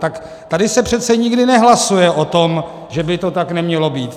Tak tady se přece nikdy nehlasuje o tom, že by to tak nemělo být.